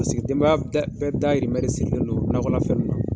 Paseke denbaya bɛɛ dayirimɛ de sirilen do nakɔlafɛn ninnu na.